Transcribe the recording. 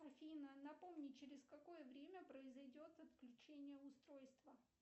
афина напомни через какое время произойдет отключение устройства